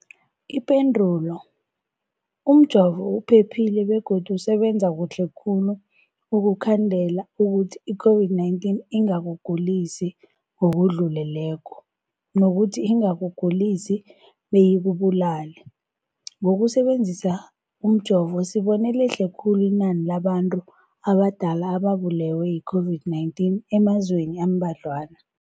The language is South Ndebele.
Ipendulo, umjovo uphephile begodu usebenza kuhle khulu ukukhandela ukuthi i-COVID-19 ingakugulisi ngokudluleleko, nokuthi ingakugulisi beyikubulale. Ngokusebe nzisa umjovo, sibone lehle khulu inani labantu abadala ababulewe yi-COVID-19 emazweni ambadlwana.